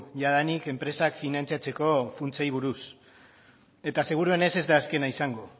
jadanik enpresak finantzatzeko funtsei buruz eta segurenez ez da azkena izango